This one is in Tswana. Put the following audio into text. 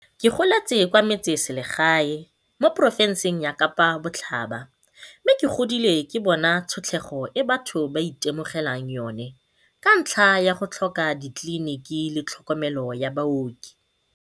Ke goletse kwa metsesele gae mo porofenseng ya Kapa Botlhaba mme ke godile ke bona tshotlego e batho ba itemogelang yona ka ntlha ya go tlhoka ditleliniki le tlhokomelo ya baoki.